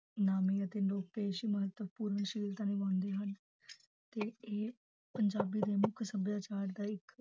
ਨਾਮੀ ਅਤੇ ਲੋਕ ਮਹੱਤਵਪੂਰਨ ਸ਼ੀਲਤਾ ਨਿਭਾਉਂਦੇ ਹਨ ਤੇ ਇਹ ਪੰਜਾਬੀ ਦੇ ਮੁੱਖ ਸਭਿਆਚਾਰ ਦਾ ਇੱਕ